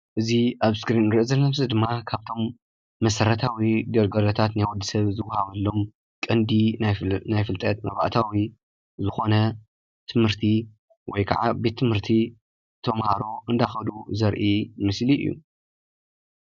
እዚ ኣብዚ እስክሪን ንሪኦ ዘለና ምስሊ ድማ ካብቶም መሰረታዊ ግልጋሎታት ናይ ወዲሰብ ዝዋሃበሎም ቀንዲ ናይ ፍልጠት መባእታዊ ዝኾነ ትምህርቲ ወይከዓ ቤት ብምህርቲ ተምሃሮ እንዳኸዱ ዘርኢ ምስሊ እዩ፡፡